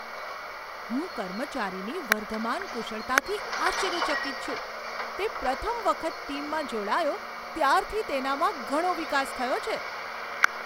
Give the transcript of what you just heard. હું કર્મચારીની વર્ધમાન કુશળતાથી આશ્ચર્યચકિત છું તે પ્રથમ વખત ટીમમાં જોડાયો ત્યારથી તેનામાં ઘણો વિકાસ થયો છે.